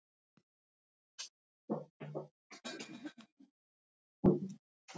Hann sá reyndar fátt markvert þar sem sjónaukinn var ekki nógu öflugur.